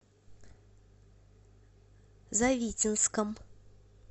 завитинском